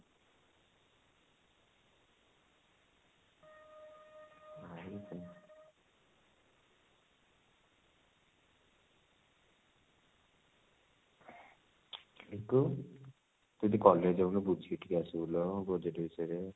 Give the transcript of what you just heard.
ତୁ ଟିକେ college ଯାଉନୁ ବୁଝିକି ଟିକେ ଆସିବୁ ଲୋ project ବିଷୟ ରେ